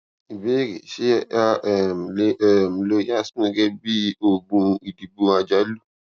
ìbéèrè ṣé a um lè um lo yasmin gégé bí oògùn ìdìbò àjálù